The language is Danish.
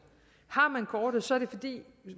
har man kortet er det fordi